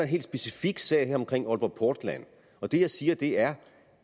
helt specifik sag her omkring aalborg portland og det jeg siger er